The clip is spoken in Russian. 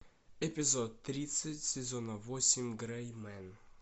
эпизод тридцать сезона восемь грей мен